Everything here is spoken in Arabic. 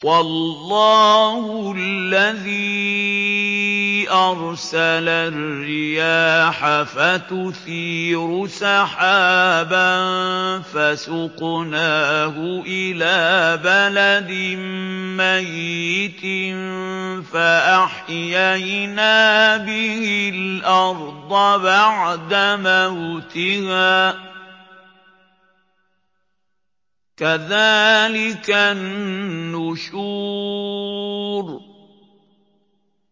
وَاللَّهُ الَّذِي أَرْسَلَ الرِّيَاحَ فَتُثِيرُ سَحَابًا فَسُقْنَاهُ إِلَىٰ بَلَدٍ مَّيِّتٍ فَأَحْيَيْنَا بِهِ الْأَرْضَ بَعْدَ مَوْتِهَا ۚ كَذَٰلِكَ النُّشُورُ